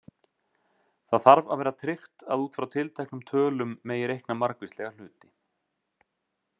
Það þarf að vera tryggt að út frá tilteknum tölum megi reikna margvíslega hluti.